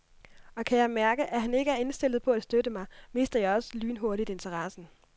Og kan jeg mærke, at han ikke er indstillet på at støtte mig, mister jeg også lynhurtigt interessen.